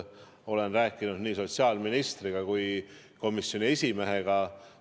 Olen rääkinud sellest nii sotsiaalministriga kui ka komisjoni esimehega.